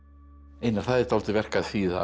einar það er dálítið verk að þýða